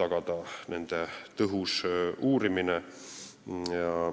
tagada selliste juhtumite tõhus uurimine.